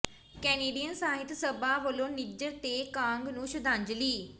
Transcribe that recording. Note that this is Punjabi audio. ਕੈਨੇਡੀਅਨ ਸਾਹਿਤ ਸਭਾ ਵਲੋਂ ਨਿੱਝਰ ਤੇ ਕਾਂਗ ਨੂੰ ਸ਼ਰਧਾਂਜਲੀ